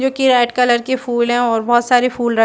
जो की red colour की फूल है और बहोत सारी फूल र--